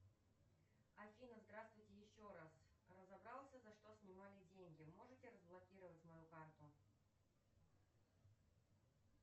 афина здравствуйте еще раз разобрался за что снимали деньги можете разблокировать мою карту